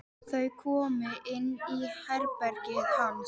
Þau koma inn í herbergið hans.